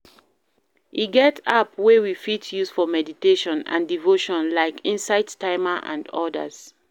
E get app wey we fit use for meditation and devotion like insight timer and odas